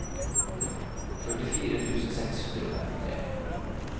førtifire tusen seks hundre og femtitre